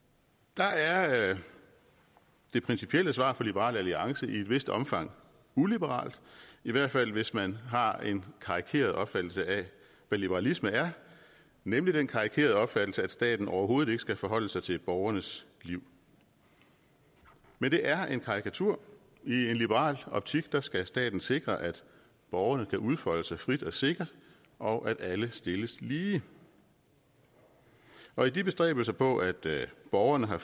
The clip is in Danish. der er det principielle svar fra liberal alliance i et vist omfang uliberalt i hvert fald hvis man har en karikeret opfattelse af hvad liberalisme er nemlig den karikerede opfattelse at staten overhovedet ikke skal forholde sig til borgernes liv men det er en karikatur i en liberal optik skal staten sikre at borgerne kan udfolde sig frit og sikkert og at alle stilles lige og i de bestræbelser på at borgerne har